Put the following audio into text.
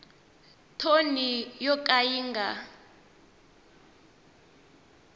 thoni yo ka yi nga